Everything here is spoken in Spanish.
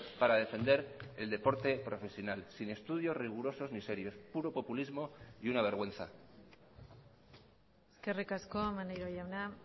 para defender el deporte profesional sin estudios rigurosos ni serios puro populismo y una vergüenza eskerrik asko maneiro jauna